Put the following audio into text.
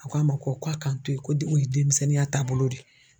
A ko a ma ko ko a ka n to ye ko de o ye denmisɛnninya taabolo de ye.